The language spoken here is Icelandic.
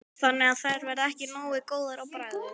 Þannig að þær verða ekki nógu góðar á bragðið?